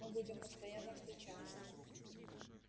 мы будем постоянно встречаться